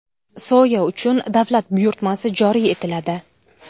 Soya uchun davlat buyurtmasi joriy etiladi.